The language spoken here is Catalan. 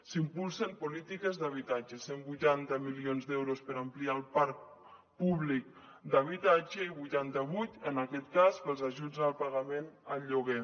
s’impulsen polítiques d’habitatge cent i vuitanta milions d’euros per ampliar el parc públic d’habitatge i vuitanta vuit en aquest cas per als ajuts al pagament al lloguer